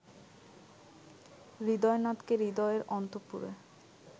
হৃদয়নাথকে হৃদয়ের অন্তঃপুরে